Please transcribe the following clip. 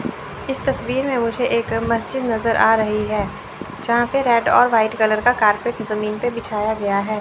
इस तस्वीर में मुझे एक मस्जिद नज़र आ रही है जहां पे रेड और व्हाइट कलर का कॉरपेट जमीन पे बिछाया गया है।